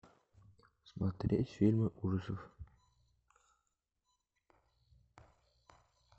смотреть фильмы ужасов